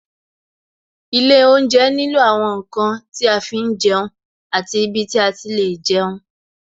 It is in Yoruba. Ilé oúnjẹ nílò àwọn ǹkan tí a fi ń jẹun àti ibi tí a ti lè jẹun